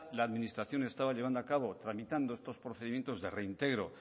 la administración estaba llevando a cabo tramitando estos procedimientos de reintegro